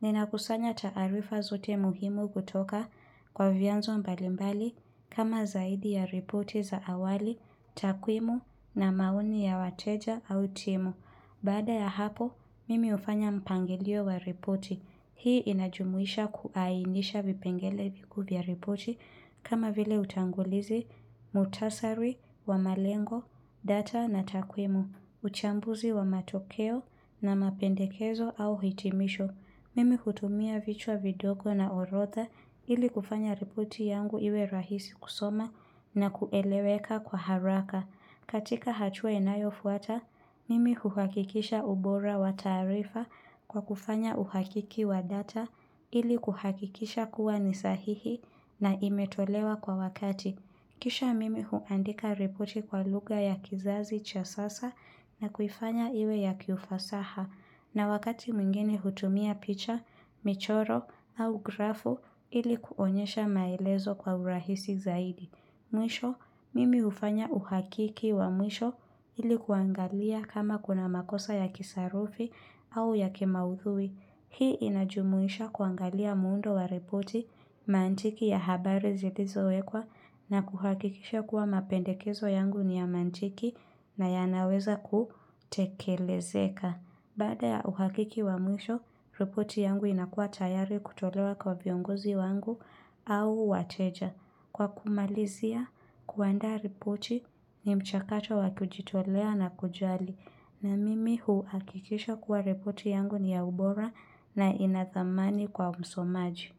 Ninakusanya taarifa zote muhimu kutoka kwa vianzo mbalimbali kama zaidi ya ripoti za awali, takwimu na maoni ya wateja au timu. Baada ya hapo, mimi hufanya mpangilio wa ripoti. Hii inajumuisha kuainisha vipengele vikuu vya ripoti kama vile utangulizi, muhtasari, wa malengo, data na takwimu, uchambuzi wa matokeo na mapendekezo au hitimisho. Mimi hutumia vichwa vidoko na orodha ili kufanya ripoti yangu iwe rahisi kusoma na kueleweka kwa haraka. Katika hatua inayofuata, mimi huhakikisha ubora wa taarifa kwa kufanya uhakiki wa data ili kuhakikisha kuwa ni sahihi na imetolewa kwa wakati. Kisha mimi huandika ripoti kwa lugha ya kizazi cha sasa na kuifanya iwe ya kiufasaha na wakati mwingine hutumia picha, michoro au grafu ili kuonyesha maelezo kwa urahisi zaidi. Mwisho, mimi hufanya uhakiki wa mwisho ili kuangalia kama kuna makosa ya kisarufi au ya kimaudhui. Hii inajumuisha kuangalia muundo wa ripoti mantiki ya habari zilizowekwa na kuhakikisha kuwa mapendekezo yangu ni ya mantiki na yanaweza kutekelezeka. Baada ya uhakiki wa mwisho, ripoti yangu inakuwa tayari kutolewa kwa viongozi wangu au wateja. Kwa kumalizia, kuandaa ripoti ni mchakato wa kujitolea na kujali. Na mimi huakikisha kuwa ripoti yangu ni ya ubora na inathamani kwa msomaji.